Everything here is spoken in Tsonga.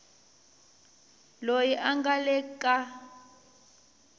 loyi a nga le ka